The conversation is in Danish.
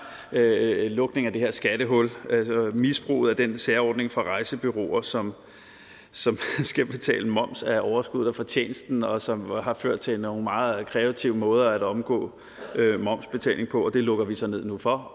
lukning af det her skattehul altså misbruget af den særordning for rejsebureauer som skal betale moms af overskuddet og fortjenesten og som har ført til nogle meget kreative måder at omgå momsbetaling på det lukker vi så ned for